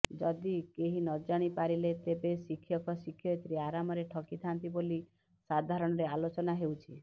ଯଦି କେହି ନ ଜାଣି ପାରିଲେ ତେବେ ଶିକ୍ଷକ ଶିକ୍ଷୟିତ୍ରୀ ଆରାମରେ ଠକିଥାନ୍ତି ବୋଲି ସାଧାରଣରେ ଆଲୋଚନା ହେଉଛି